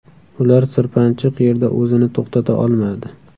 Ular sirpanchiq yerda o‘zini to‘xtata olmadi.